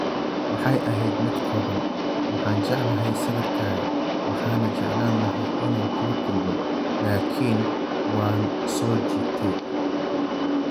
Waxay ahayd mid kooban: Waxaan jeclahay sawirkaaga, waxaana jeclaan lahaa inaan kula kulmo, laakiin waan soo jiitay.